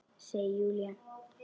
Segir Júlía.